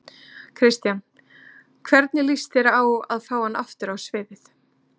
Kristján: Hvernig lýst þér á að fá hann aftur á sviðið?